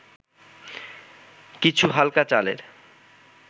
কিছু হালকা চালের’